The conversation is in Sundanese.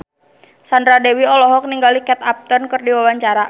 Sandra Dewi olohok ningali Kate Upton keur diwawancara